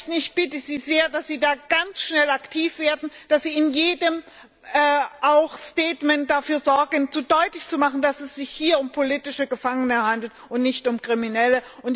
Frau Ashton, ich bitte Sie sehr, dass Sie da ganz schnell aktiv werden, dass Sie in jeder Erklärung dafür sorgen, deutlich zu machen, dass es sich hier um politische Gefangene handelt und nicht um Kriminelle.